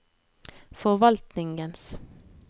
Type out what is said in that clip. forvaltningens